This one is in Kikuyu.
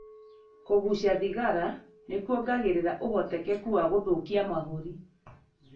Kũgucia thigara nĩ kũongagĩrira ũhotekeku wa gũthukia mahũri.